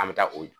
An bɛ taa o